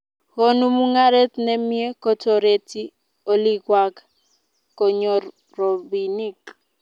Konu mungaret ne mie kotoreti olikwak konyor robinik